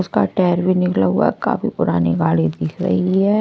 उसका टायर भी निकला हुआ काफी पुरानी गाड़ी दिख रही है।